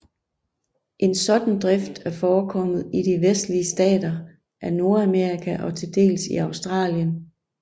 En sådan drift er forekommet i de vestlige stater af Nordamerika og til dels i Australien